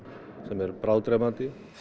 sem er bráðdrepandi